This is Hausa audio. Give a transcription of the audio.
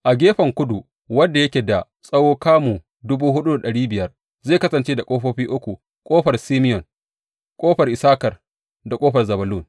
A gefen kudu, wanda yake da tsawon kamu dubu hudu da dari biyar, zai kasance da ƙofofi uku, ƙofar Simeyon, ƙofar Issakar da ƙofar Zebulun.